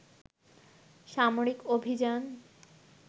সামরিক অভিযান